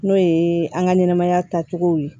N'o ye an ka ɲɛnɛmaya taacogo ye